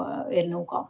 Oudekki Loone, palun!